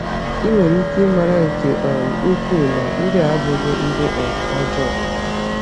Ị nwere ike ịmara nke um ukwuu na ndị a abụghị ndị um ọjọọ.